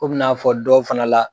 Kom'i n'a fɔ dɔw fana la.